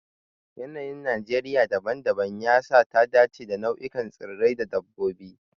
Yanayin Najeriya dabam-dabam ya sa ta dace da nau'ikan tsirrai da dabbobi.